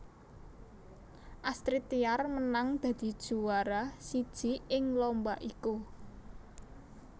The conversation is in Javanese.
Astrid Tiar menang dadi juwara siji ing lomba iku